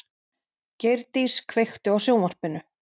Geirdís, kveiktu á sjónvarpinu.